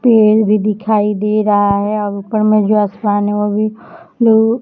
पेड़ भी दिखाई दे रहा है ऊपर में जो आसमान है वो भी--